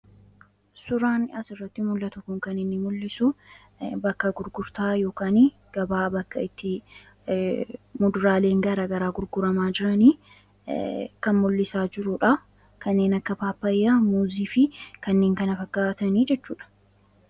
Suuraan asirratti mul'atu kuni kan inni mul'isu bakka gurgurtaa yookaan gabaa bakka itti muduraaleen gara garaa gurguramaa jirani kan mul'isaa jirudha. Kanneen akka paappaayyaa, muuzii fi kanneen kan kana fakkaatani jechuudha.